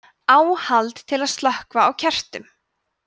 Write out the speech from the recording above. áhald til að slökkva á kertum